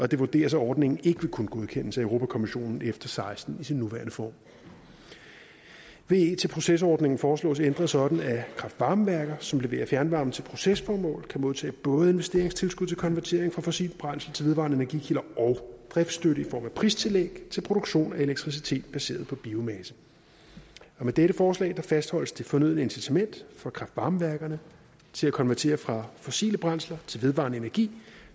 det vurderes at ordningen ikke vil kunne godkendes af europa kommissionen efter seksten i sin nuværende form ve til proces ordningen foreslås ændret sådan at kraft varme værker som leverer fjernvarme til procesformål kan modtage både investeringstilskud til konvertering fra fossile brændsler til vedvarende energikilder og driftsstøtte i form af pristillæg til produktion af elektricitet baseret på biomasse med dette forslag fastholdes det fornødne incitament for kraft varme værkerne til at konvertere fra fossile brændsler til vedvarende energi